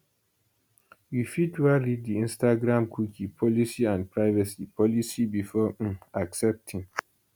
you fit wan read di instagramcookie policyandprivacy policybefore um accepting